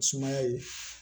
Sumaya ye